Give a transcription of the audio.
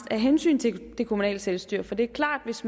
af hensyn til det kommunale selvstyre for det er klart at hvis